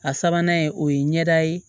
A sabanan ye o ye ɲɛda ye